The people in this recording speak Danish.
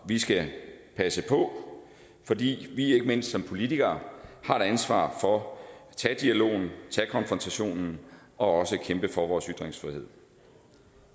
vi skal passe på fordi vi ikke mindst som politikere har et ansvar for at tage dialogen og tage konfrontationen og også kæmpe for vores ytringsfrihed